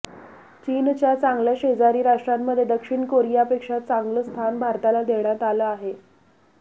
चीनच्या चांगल्या शेजारी राष्ट्रांमध्ये दक्षिण कोरियापेक्षा चांगल स्थान भारताला देण्यात आले आहे